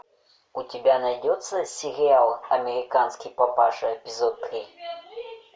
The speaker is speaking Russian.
у тебя найдется сериал американский папаша эпизод три